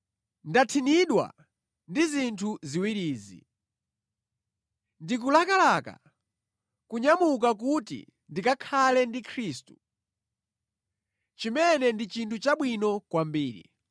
Ndathinidwa ndi zinthu ziwirizi: Ndikulakalaka kunyamuka kuti ndikakhale ndi Khristu, chimene ndi chinthu chabwino kwambiri.